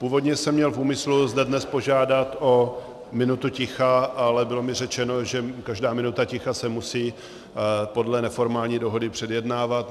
Původně jsem měl v úmyslu zde dnes požádat o minutu ticha, ale bylo mi řečeno, že každá minuta ticha se musí podle neformální dohody předjednávat.